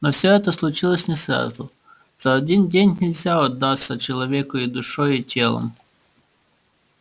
но всё это случилось не сразу за один день нельзя отдаться человеку и душой и телом